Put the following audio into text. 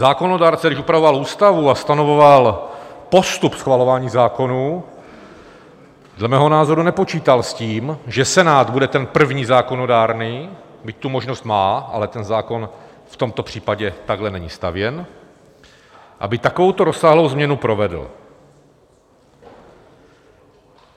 Zákonodárce, když upravoval Ústavu a stanovoval postup schvalování zákonů, dle mého názoru nepočítal s tím, že Senát bude ten první zákonodárný, byť tu možnost má, ale ten zákon v tomto případě takhle není stavěn, aby takovou rozsáhlou změnu provedl.